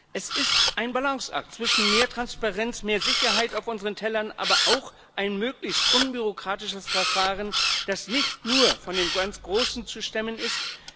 Es ist ein Balanceakt zwischen mehr Transparenz, mehr Sicherheit auf unseren Tellern, aber auch einem möglichst unbürokratischen Verfahren, das nicht nur von den ganz Großen zu stemmen ist.